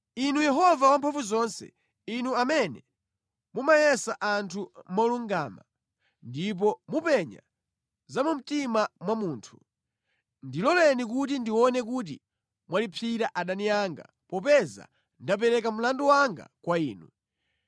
Inu Yehova Wamphamvuzonse, Inu amene mumayesa anthu molungama ndipo mupenya za mu mtima mwa munthu. Ndiloleni kuti ndione kuti mwalipsira adani anga popeza ndapereka mlandu wanga kwa Inu.